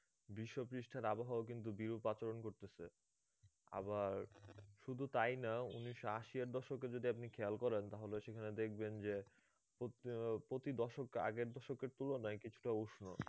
বিশ্ব পৃষ্ঠের আবহাওয়ার কিন্তু বিরূপ আচরণ করতেছে আবার শুধু তাই না উনিসশ আশি এর দশকে যদি আপনি খেয়াল করেন তাহলে সেখানে দেখবেন যে প্রতি আহ প্রতি দশক আগের দশকের তুলনায় কিছুটা উষ্ণ